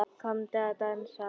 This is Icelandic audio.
Komdu að dansa